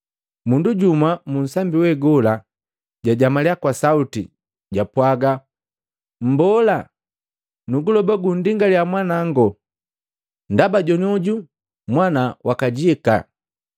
Mundu jumwa mu nsambi we gola jajamalia kwa sauti, japwaga, “Mmbola! Nuguloba gundingaliya mwanango, ndaba jonioju mwanawa wakajika!